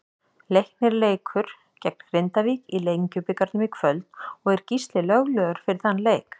Leiknir leikur gegn Grindavík í Lengjubikarnum í kvöld og er Gísli löglegur fyrir þann leik.